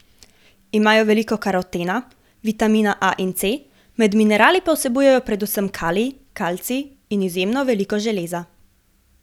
Imajo veliko karotena, vitamina A in C, med minerali pa vsebuje predvsem kalij, kalcij in izjemno veliko železa.